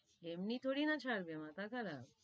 এমনি থোড়ি না ছাড়বে, মাথা খারাপ,